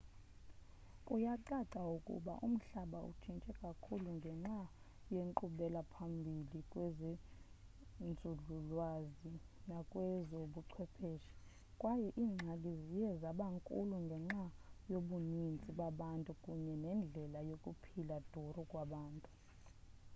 kuyacaca ukuba umhlaba utshintshe kakhulu ngenxa yenkqubela phambili kwezenzululwazi nakwezobuchwepheshe kwaye iingxaki ziye zaba nkulu ngenxa yobuninzi babantu kunye nendlela yokuphila duru kwabantu